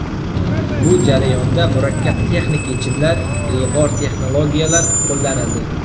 Bu jarayonda murakkab texnik yechimlar, ilg‘or texnologiyalar qo‘llanildi.